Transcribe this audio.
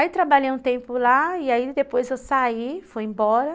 Aí trabalhei um tempo lá e depois eu saí, fui embora.